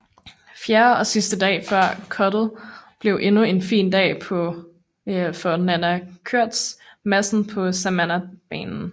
Fjerde og sidste dag før cuttet blev endnu en fin dag for Nanna Koerstz Madsen på Samanah banen